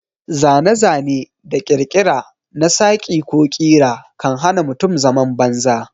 Zane-zane da ƙirkira na saƙi ko ƙira kan hana mutum zaman banza.